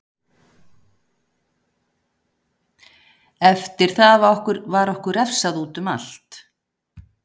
Eftir það var okkur refsað útum allt.